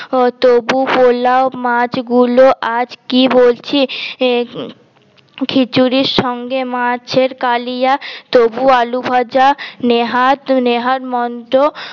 তবু পলাও মাছ গুলো আজ কি বলছিস খিছুড়ির সঙ্গে মাছ এর কালিয়া তবু আলু ভাজা নেহাত নেহাত মন্ত